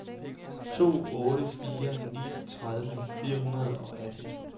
to otte fire ni tredive fire hundrede og atten